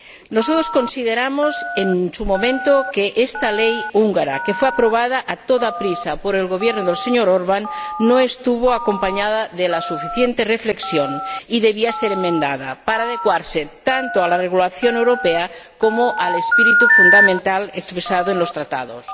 Nosotros consideramos, en su momento, que esta ley húngara, que fue aprobada a toda prisa por el Gobierno del señor Orbán, no estuvo acompañada de la suficiente reflexión y debía ser enmendada para adecuarse tanto a la regulación europea como al espíritu fundamental expresado en los Tratados.